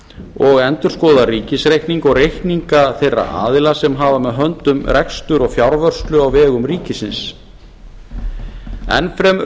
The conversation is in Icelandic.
og endurskoðar ríkisreikning og reikninga þeirra aðila sem hafa með höndum rekstur og fjárvörslu á vegum ríkisins enn fremur